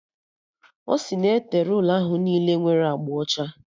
Ọ si na e tere ụlọ ahụ niile nwere agba ọcha